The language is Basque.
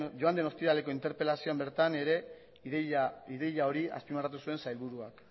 joan den ostiraleko interpelazioan bertan ere ideia hori azpimarratu zuen sailburuak